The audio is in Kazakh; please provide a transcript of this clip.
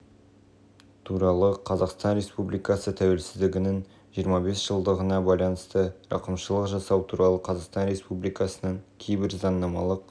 туралы қазақстан республикасы тәуелсіздігінің жиырма бес жылдығына байланысты рақымшылық жасау туралы қазақстан республикасының кейбір заңнамалық